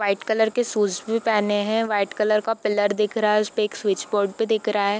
white colour के shoes भी पहने हैं व्हाइट कलर का पिलर दिख रहा है उसपे एक स्विच बोर्ड भी दिख रहा है |